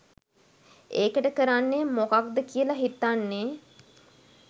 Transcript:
ඒකට කරන්නේ මොකද්ද කියලා හිතන්නෙ.